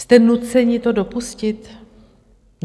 Jste nuceni to dopustit?